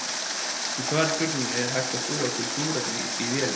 Í svari við spurningunni Er hægt að búa til súrefni í vélum?